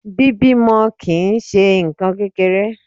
Bíbímọ kì ń ṣe nǹkan kékeré.